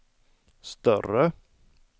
större